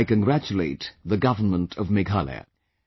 I congratulate the Government of Meghalaya